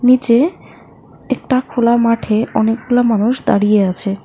নীচে একটা খোলা মাঠে অনেকগুলো মানুষ দাঁড়িয়ে আছে।